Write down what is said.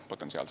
Jüri Adams.